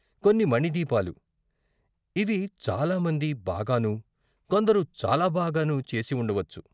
కొన్ని మణిదీపాలు, ఇవి చాలామంది బాగాను, కొందరు చాలా బాగాను, చేసి వుండవచ్చు.